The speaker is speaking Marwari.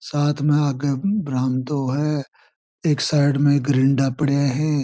साथ में आगे बरामदों है एक साइड में एक पड़ा है।